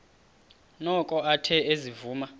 noko athe ezivuma